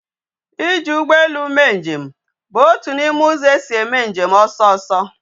Iji ugbo elu mee nje m bu otu na ime uzo esi eme njem oso oso